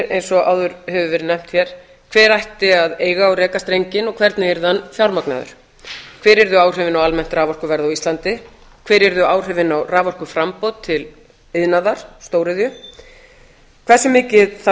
eins og áður hefur verið nefnt hér hver ætti að eiga og reka strenginn og hvernig yrði hann fjármagnaður hver yrðu áhrifin á almennt raforkuverð á íslandi hver yrðu áhrifin á raforkuframboð til iðnaðar stóriðju hversu mikið þarf